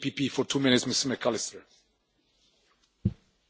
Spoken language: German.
Herr Präsident, meine sehr geehrten Damen und Herren, liebe Kolleginnen und Kollegen!